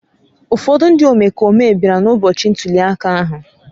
Ụfọdụ ndị omekome bịara n’ụbọchị ntuli aka ahụ